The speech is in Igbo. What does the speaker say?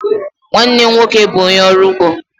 Nwanne m nwoke bụ ónyé ọrụ ụgbọ.